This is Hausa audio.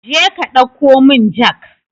Jeka ɗauko mun jak